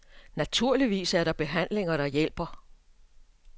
Naturligvis er der behandlinger, der hjælper.